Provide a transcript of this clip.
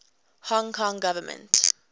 hong kong government